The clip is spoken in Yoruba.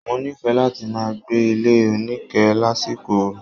Mo nife lati máa gbé ilé onike lásìkò oru.